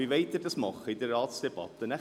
Wie wollen Sie dies in der Ratsdebatte machen?